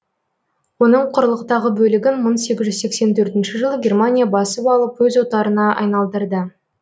оның құрлықтағы бөлігін мың сегіз жүз сексен төртінші жылы германия басып алып өз отарына айналдырды